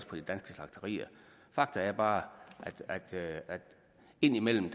på de danske slagterier fakta er bare at det indimellem